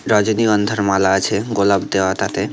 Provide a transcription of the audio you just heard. রজনীগন্ধার মালা আছে গোলাপ দেওয়া তাতে ।